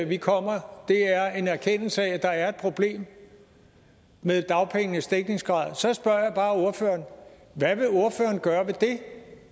vi kommer er en erkendelse af at der er et problem med dagpengenes dækningsgrad så spørger jeg bare ordføreren hvad vil ordføreren gøre ved det